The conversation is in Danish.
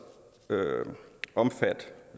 omfatte